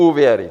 Úvěry.